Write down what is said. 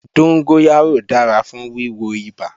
Dóngóyárò dára fún wíwo ibà